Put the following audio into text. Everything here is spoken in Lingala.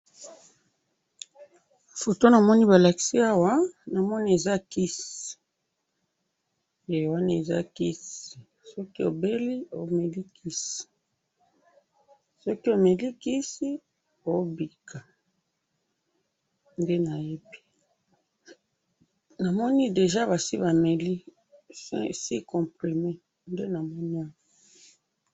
Foto namoni balakisi awa, namoni eza kisi, eh! Wana eza kisi, soki obeli omeli kisi, soki omeli kisi oobika, nde nayebi, namoni deja basi bameli, six comprimets, nde namoni awa.